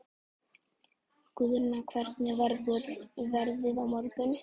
Guðna, hvernig verður veðrið á morgun?